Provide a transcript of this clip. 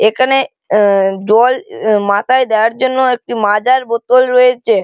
এখানে আ জল এ মাথায় দেয়ার জন্য একটি মাজার বোতল রয়েচে।